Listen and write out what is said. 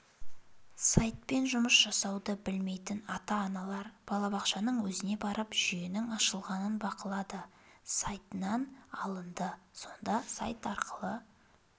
сайтпен жұмыс жасауды білмейтін ата-аналар балабақшаның өзіне барып жүйенің ашылғанын бақылады сайтынан алынды сонда сайт арқылы